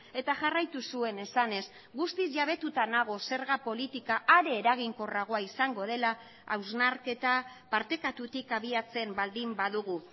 eta jarraitu zuen esanez guztiz jabetuta nago zerga politika are eraginkorragoa izango dela hausnarketa partekatutik abiatzen baldin badugu